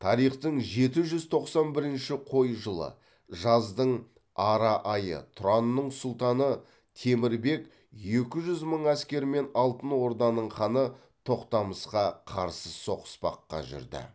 тарихтың жеті жүз тоқсан бірінші қой жылы жаздың ара айы тұранның сұлтаны темір бек екі жүз мың әскермен алтын орданың ханы тоқтамысқа қарсы соғыспаққа жүрді